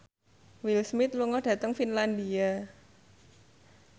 Will Smith lunga dhateng Finlandia